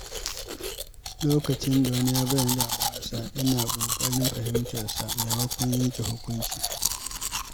Lokacin da wani ya bayyana damuwarsa, ina ƙoƙarin fahimtarsa maimakon yanke hukunci.